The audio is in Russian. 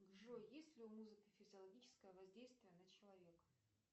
джой есть ли у музыки физиологическое воздействие на человека